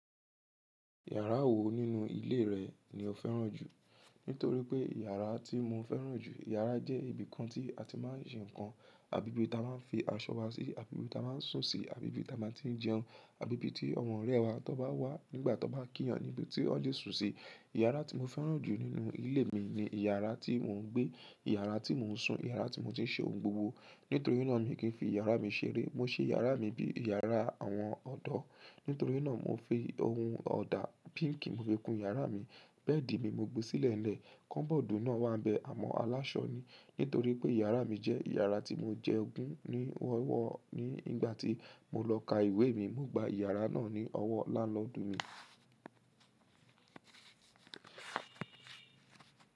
Yàrá wo nínú ilé rẹ̀ ni ó fẹ́ràn jù? Nítorí pé iyàrá tí mo fẹ́ràn jù, iyàrá jẹ́ ibìkan tí a ti máa ń ṣe nnkan, abi tí a máa ń fi aṣọ wa sí, abi tí a máa ń sùn sí, abi tí a máa ń tí jẹun, ibi tí àwọn ọ̀rẹ́ ẹ wa tó bá wá nígbà tó bá kíyan ni bí tó le sùn sí. Yàrá tí mo fẹ́ràn jù nínú ilé mi ni yàrá tí mò ń gbé, yàrá tí mò ń sùn, yàrá tí mò ti ṣe ohun gbogbo. Nítorí náà mi kì í fi yàrá mi ṣeré. Mó ṣe yàrá mi bí yàrá àwọn ọ̀dọ́. Nítorí náà mo fi ohun ọ̀dà píǹkì mo fi kún yàrá mi, bẹ́ẹ̀dì mi mo gbé sílẹ̀ lẹ́ẹ̀, kọ́bọ̀dù náà wá bẹ amọ́ aláṣọ ni. Nítorí pé iyàrá mi jẹ́ yàrá tí mo jẹ́ ọ̀gun ní ọ́wọ́ ni. Nígbà tí mo lọ ka ìwé mi, mo gba yàrá náà ní ọwọ́ lánlọ́dún mi.